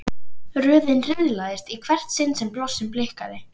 Röðin riðlaðist í hvert sinn sem blossinn blikkaði.